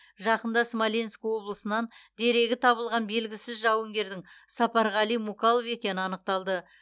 жақында смоленк облысынан дерегі табылған белгісіз жауынгердің сапарғали мукалов екені анықталды